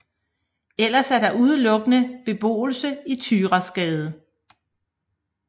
Ellers er der udelukkende beboelse i Thyrasgade